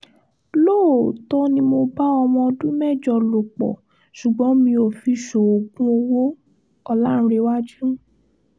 lóòótọ́ ni mo bá ọmọ ọdún mẹ́jọ lò pọ̀ ṣùgbọ́n mi ò fi ṣoògùn owó- ọ̀làǹrẹ̀wájú